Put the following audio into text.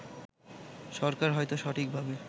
সরকার হয়তো সঠিকভাবে